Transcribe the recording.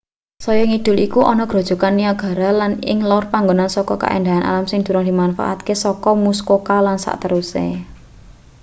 saya ngidul iku ana grojogan niagara lan ing lor iku panggonan saka kaendahan alam sing durung dimanfaatake saka muskoka lan sakteruse